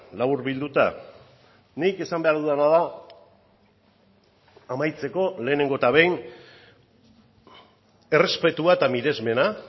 laburbilduta nik esan behar dudana da amaitzeko lehenengo eta behin errespetua eta miresmena